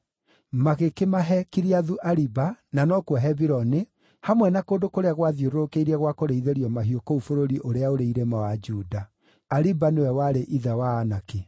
Magĩkĩmahe Kiriathu-Ariba (na no kuo Hebironi), hamwe na kũndũ kũrĩa gwathiũrũrũkĩirie gwa kũrĩithĩrio mahiũ kũu bũrũri ũrĩa ũrĩ irĩma wa Juda. (Ariba nĩwe warĩ ithe wa Anaki).